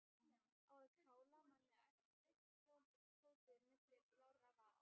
Á að kála manni æpti Tóti milli blárra vara.